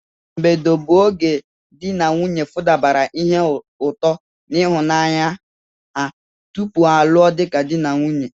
mbedo bụ oge di n'nwunye futabara ihe ụtọ n'ịhụnanya ha tupu ha lụọ dika di ka di n'nwunye.